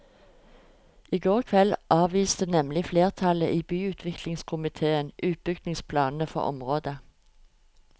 I går kveld avviste nemlig flertallet i byutviklingskomitéen utbyggingsplanene for området.